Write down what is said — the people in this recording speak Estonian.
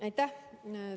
Aitäh!